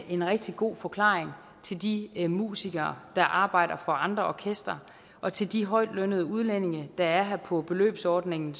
en rigtig god forklaring til de musikere der arbejder for andre orkestre og til de højtlønnede udlændinge der er her på beløbsordningen